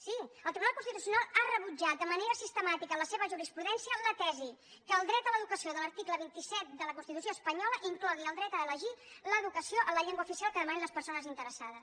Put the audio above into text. sí el tribunal constitucional ha rebutjat de manera sistemàtica en la seva jurisprudència la tesi que el dret a l’educació de l’article vint set de la constitució espanyola inclogui el dret a elegir l’educació en la llengua oficial que demanin les persones interessades